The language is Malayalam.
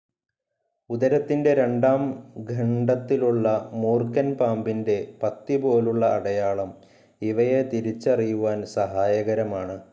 ഉദരത്തിൻ്റെ രണ്ടാം ഖണ്ഡത്തിലുള്ള മൂർക്കൻപാമ്പിൻ്റെ പത്തി പോലുള്ള അടയാളം ഇവയെതിരിച്ചറിയുവാൻ സഹായകരമാണ്.